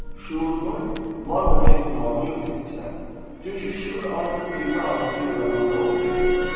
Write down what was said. Şüurunun var olma ehtimalını yox etmisən, çünki şüur ancaq bilmə arzusu yarananda ortaya çıxır.